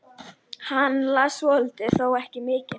Það var bara pilsið, og treyja og sjal á herðunum.